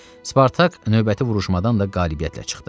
Spartak növbəti vuruşmadan da qalibiyyətlə çıxdı.